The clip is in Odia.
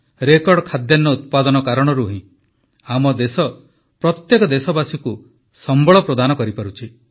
ରେକର୍ଡ ଖାଦ୍ୟାନ୍ନ ଉତ୍ପାଦନ କାରଣରୁ ହିଁ ଆମ ଦେଶ ପ୍ରତ୍ୟେକ ଦେଶବାସୀକୁ ସମ୍ବଳ ପ୍ରଦାନ କରିପାରୁଛି